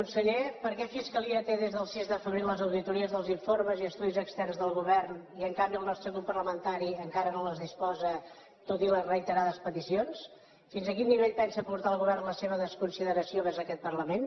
conseller per què la fiscalia té des del sis de febrer les auditories dels informes i estudis externs del govern i en canvi el nostre grup parlamentari encara no en disposa tot i les reiterades peticions fins a quin nivell pensa portar el govern la seva desconsideració vers aquest parlament